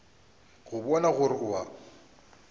go bona gore o a